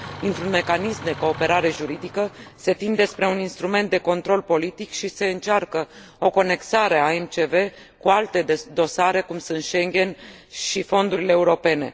Dintr un mecanism de cooperare juridică, se tinde spre un instrument de control politic și se încearcă o conexare a MCV cu alte dosare, cum sunt Schengen și fondurile europene.